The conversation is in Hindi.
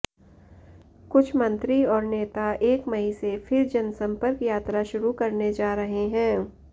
कुछ मंत्री और नेता एक मई से फिर जनसंपर्क यात्रा शुरू करने जा रहे हैं